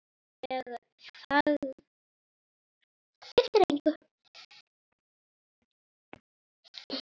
Ég þagði í þrjá mánuði.